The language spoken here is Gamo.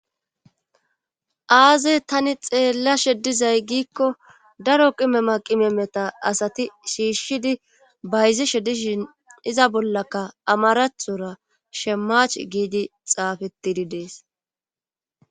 aazey tani xeellashe dizay giikko daro qime ma qime meta asati shiishshidi bayzishe dishin iza bollaka amarathora shemach giidi xaafetidi dees